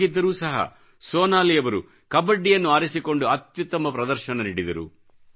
ಹಾಗಿದ್ದರೂ ಸಹ ಸೋನಾಲಿ ಅವರು ಕಬಡ್ಡಿಯನ್ನು ಆರಿಸಿಕೊಂಡು ಅತ್ಯುತ್ತಮ ಪ್ರದರ್ಶನ ನೀಡಿದರು